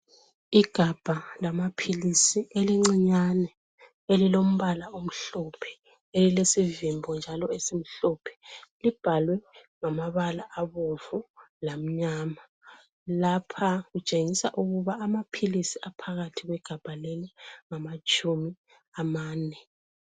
Igabha lamaphilisi elincinyane, elilombala omhlophe elilesivimbo njalo esimhlophe. Libhalwe ngamabala abomvu lamnyama. Lapha kutshengisa ukuba amaphilisi aphakathi kwegabha leli ngamatshumi amane.